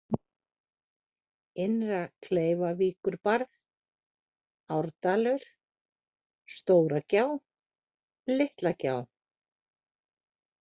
Innra-Kleifarvíkurbarð, Árdalur, Stóragjá, Litlagjá